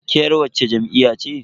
Ke yar wacce jam'iyya ce?